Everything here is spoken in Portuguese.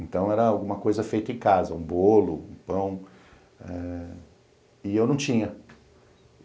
Então, era alguma coisa feita em casa, um bolo, um pão, eh e eu não tinha.